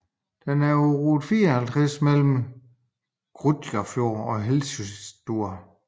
Den er på rute 54 mellem Grundarfjörður og Hellissandur